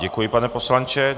Děkuji, pane poslanče.